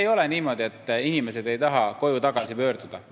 Ei ole niimoodi, et inimesed ei taha koju tagasi pöörduda.